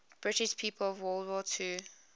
british people of world war ii